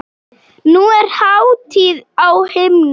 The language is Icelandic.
Nú er hátíð á himnum.